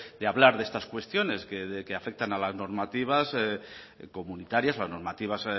de hablar de estas cuestiones que afectan a las normativas comunitarias o a las normativas